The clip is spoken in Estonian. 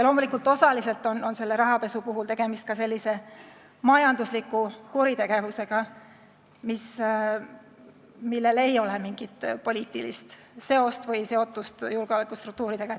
Loomulikult, osaliselt on rahapesu ka majanduslik kuritegevus, millel ei ole mingit poliitilist seotust julgeolekustruktuuridega.